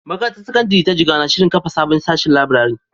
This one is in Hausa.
Makarantar Sakandare ta Jigawa na shirin kafa sabon sashin laburare.